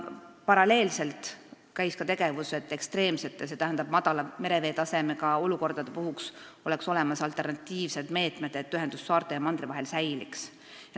Paralleelselt käis ka tegevus, et ekstreemsete, st madala mereveetasemega olukordade puhuks oleks olemas alternatiivsed meetmed saarte ja mandri vahelise ühenduse säilitamiseks.